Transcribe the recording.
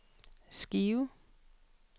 Skive